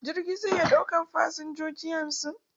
Jirgi zai iya ɗaukan fasinjoji hamsin.